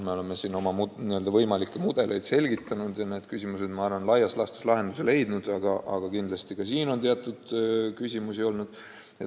Me oleme võimalikke mudeleid selgitanud ja küsimused on minu arvates laias laastus lahenduse leidnud, aga kindlasti on küsimusi veelgi.